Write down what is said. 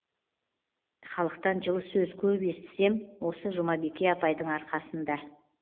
халықтан жылы сөз көп естісем осы жұмабике апайдың арқасында